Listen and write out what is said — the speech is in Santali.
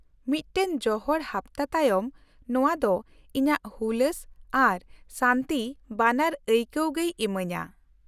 -ᱢᱤᱫᱴᱟᱝ ᱡᱚᱦᱚᱲ ᱦᱟᱯᱛᱟ ᱛᱟᱭᱚᱢ ᱱᱚᱶᱟ ᱫᱚ ᱤᱧᱟᱹᱜ ᱦᱩᱞᱟᱹᱥ ᱟᱨ ᱥᱟᱹᱱᱛᱤ ᱵᱟᱱᱟᱨ ᱟᱹᱭᱠᱟᱹᱣ ᱜᱮᱭ ᱮᱢᱟᱹᱧᱟ ᱾